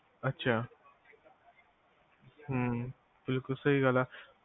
ਅੱਛਾ ਹਮ ਬਿਲਕੁਲ ਸਹੀ ਗੱਲ ਐ